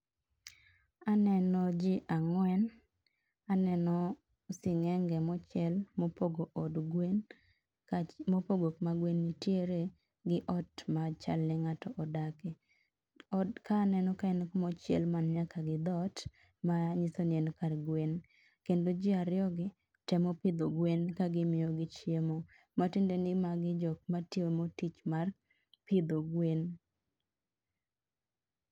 aneno jii angwen aneno singenge mochiel mopogo od gwen mopogo kuma gwen nitiere gi ot machal ni ngato odake ot ka aneno kaen kamochiel man nyaka gi dhot mayiso ni en kar gwen kendo ji ariyo gi temo pidho gwen ka gi miyogi chiemo matiende ni jogi timo tich mar pidho gwen